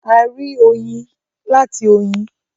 A rí oyin láti oyin.